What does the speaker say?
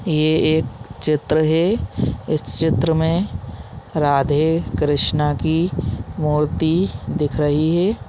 ये एक चित्र है इस चित्र में राधे -कृष्णा की मूर्ति दिख रही हैं ।